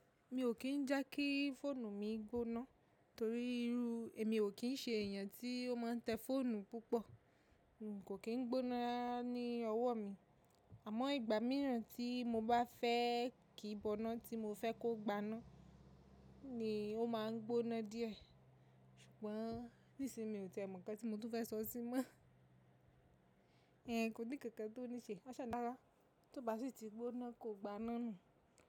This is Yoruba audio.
Mi ò kí n jẹ́ kí fóònù mi gbóná torí irú, èmi ò kí n ṣe èèyàn tí ó máa ń tẹ fóònù púpọ̀. Kò kí n gbóná ní ọwọ́ mi. Àmọ́ ìgbà mìíràn tí mo bá fẹ́ kí i bọna tí mo fẹ́ kó gbaná ni ó máa ń gbóná díẹ̀. Ṣùgbọ́n nísin mi ò tìẹ mọ nkan tí mo tún fẹ́ sọ sí mọ́. Kò ní kankan tó ní ṣe. Aṣa rára. Tí o ba si ti gbóná kò gbaná nu.